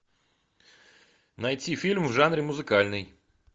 найти фильм в жанре музыкальный